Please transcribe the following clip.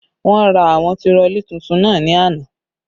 Wọ́n ra àwọn tirọlí tuntun náà ni àná